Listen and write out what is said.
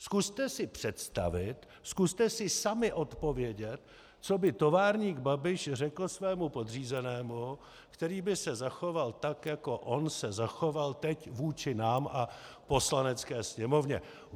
Zkuste si představit, zkuste si sami odpovědět, co by továrník Babiš řekl svému podřízenému, který by se zachoval tak, jako on se zachoval teď vůči nám a Poslanecké sněmovně.